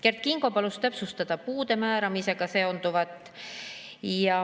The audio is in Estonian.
Kert Kingo palus täpsustada puude määramisega seonduvat.